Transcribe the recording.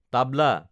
তাবলা